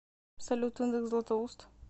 салют индекс златоуст